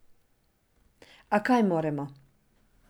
A kaj moremo?